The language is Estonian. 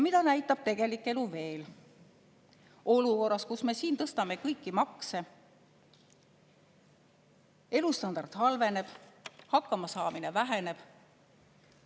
Mida näitab tegelik elu veel olukorras, kus me tõstame kõiki makse, elustandard halveneb, hakkamasaamine väheneb?